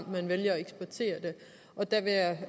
man vælger at eksportere det og der vil jeg